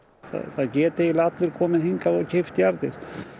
það geta eiginlega allir komið hingað og keypt jarðir